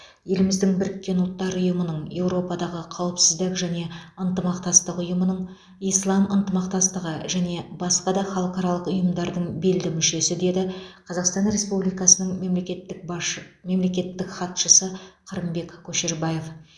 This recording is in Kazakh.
еліміз біріккен ұлттар ұйымының еуропадағы қауіпсіздік және ынтымақтастық ұйымының ислам ынтымақтастығы және басқа да халықаралық ұйымдардың белді мүшесі деді қазақстан республикасының мемлекеттік башы мемлекеттік хатшысы қырымбек көшербаев